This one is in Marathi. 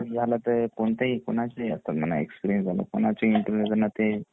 फ्रेशर कोणाच्याही इंटरव्ह्यु ला म्हणा